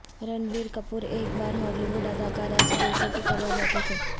رنبیر کپور ایک بار Hollywood اداکارہ سے بے عزتی کروا بیٹھے تھے